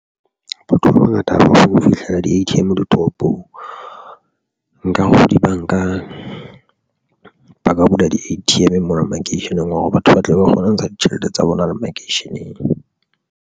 Batho ba bangata haholo ho fihlela di-A_T_M ditoropong nka dibanka ba ka bula di-A_T_M mona makeisheneng wa hore batho ba tlabe ba kgona ho ntsha ditjhelete tsa bona le makeisheneng.